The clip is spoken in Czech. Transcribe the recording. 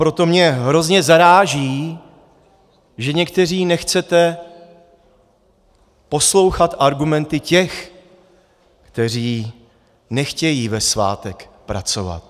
Proto mě hrozně zaráží, že někteří nechcete poslouchat argumenty těch, kteří nechtějí ve svátek pracovat.